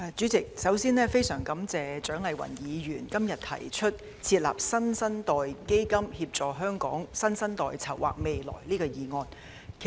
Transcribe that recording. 主席，首先，我非常感謝蔣麗芸議員今天提出"設立新生代基金，協助香港新生代籌劃未來"議案。